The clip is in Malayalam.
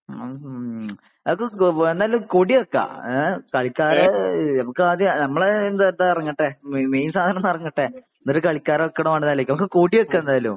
മ്ഹ് മ്ഹ് നമുക്ക് എന്തായാലും കൊടി വെക്കാ ഏ കളിക്കാരെ നമുക്ക് ആദ്യം നമ്മളെ ഇത് ഇറങ്ങട്ടെ . മെയിൻ സാധനം ഒന്ന് ഇങ്ങട് ഇറങ്ങട്ടെ എന്നിട്ട് കളിക്കാരെ വെക്കണോ വേണ്ടയോ എന്ന് ആലോചിക്ക നമുക്ക് കൊടി വെക്കാ എന്തായാലും